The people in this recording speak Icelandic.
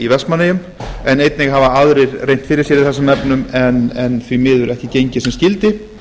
vestmannaeyjum en einnig hafa aðrir reynt fyrir sér í þessum efnum en því miður ekki gengið sem skyldi